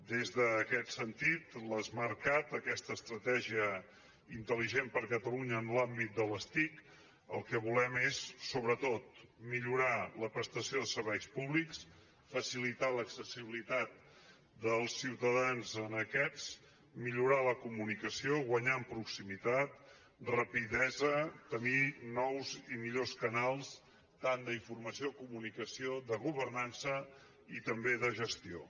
des d’aquest sentit amb l’smartcat aquesta estratègia intel·ligent per a catalunya en l’àmbit de les tic el que volem és sobretot millorar la prestació de serveis públics facilitar l’accessibilitat dels ciutadans a aquests serveis millorar la comunicació guanyar en proximitat rapidesa tenir nous i millors canals tant d’informació i comunicació com de governança i també de gestió